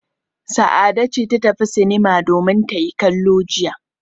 Sa'ade ce ta tafi sinima domin ta yi kallo jiya.